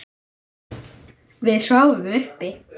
Við sváfum uppi.